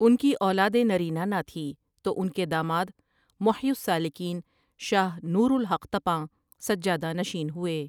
ان کی اولاد نرینہ نہ تھی تو ان کے داماد محی السالکین شاہ نورالحق طپاںؔ سجادہ نشین ہوئے ۔